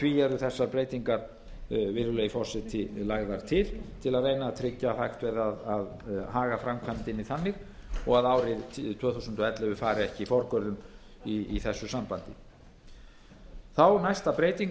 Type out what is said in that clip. því eru þessar breytingar lagðar til virðulegi forseti til að reyna að tryggja að hægt verði að haga framkvæmdinni þannig og að árið tvö þúsund og ellefu fari ekki forgörðum í þessu sambandi þá næst